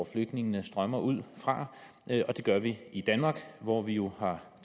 flygtningene strømmer ud fra og det gør vi i danmark hvor vi jo har